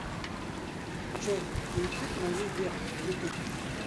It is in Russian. джой суицид моей веры ютуб